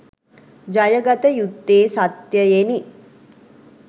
ජය ගත යුත්තේ සත්‍යයෙනි.